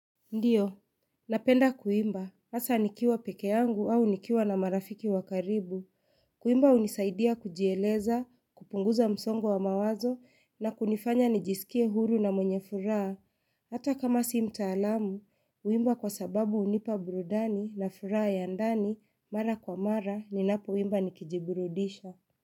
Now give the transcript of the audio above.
Ndiyo. Napenda kuimba. Hasa nikiwa peke yangu au nikiwa na marafiki wa karibu. Kuimba hunisaidia kujieleza, kupunguza msongo wa mawazo na kunifanya nijisikie huru na mwenye furaha. Hata kama si mtaalamu, huimba kwa sababu hunipa burudani na furaha ya ndani, mara kwa mara, ninapoimba nikijiburudisha.